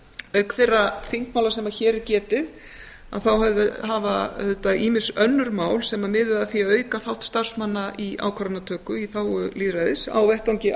auk þeirra þingmála sem hér er getið hafa auðvitað ýmis önnur mál sem miðuðu að því að auka þátt starfsmanna í ákvarðanatöku í þágu lýðræðis á vettvangi